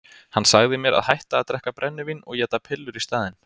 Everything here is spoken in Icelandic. Hann sagði mér að hætta að drekka brennivín og éta pillur í staðinn.